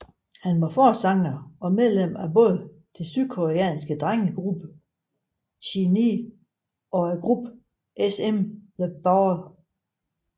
Han var forsanger og medlem af både den sydkoreanske drengegruppe SHINee og gruppen SM The Ballad